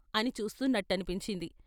" అని చూస్తున్నట్టనిపించింది.